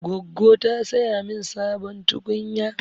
Goggo ta saya min sabon tukunya.